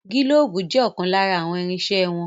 Gílóóbù jẹ́ ọ̀kan lára àwọn irinsẹ́ wọn